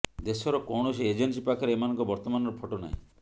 ଦେଶର କୌଣସି ଏଜେନ୍ସି ପାଖରେ ଏମାନଙ୍କ ବର୍ତ୍ତମାନର ଫଟୋ ନାହିଁ